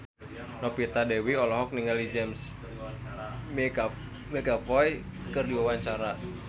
Novita Dewi olohok ningali James McAvoy keur diwawancara